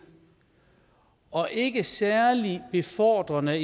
og ikke særlig befordrende